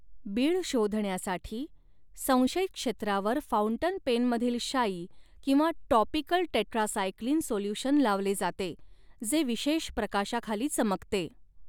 बीळ शोधण्यासाठी, संशयित क्षेत्रावर फाउंटन पेनमधील शाई किंवा टॉपिकल टेट्रासाइक्लिन सोल्यूशन लावले जाते, जे विशेष प्रकाशाखाली चमकते.